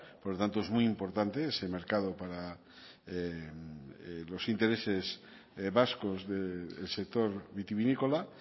por lo tanto es muy importante ese mercado para los intereses vascos del sector vitivinícola